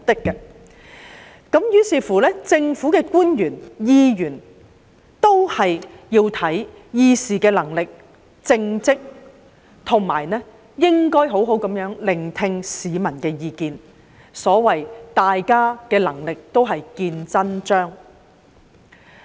於是，政府官員、議會議員也要看議事能力、看政績，亦要好好聆聽市民的意見，屆時大家的能力便會"見真章"。